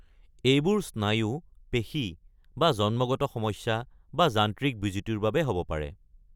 এইবোৰ স্নায়ু, পেশী, বা জন্মগত সমস্যা, বা যান্ত্ৰিক বিজুতিৰ বাবে হ’ব পাৰে।